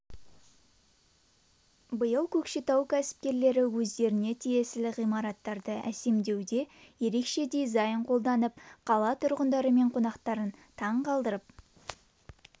биыл көкшетау кәсіпкерлері өздеріне тиесілі ғимараттарды әсемдеуде ерекше дизайн қолданып қала тұрғындары мен қонақтарын таң қалдырып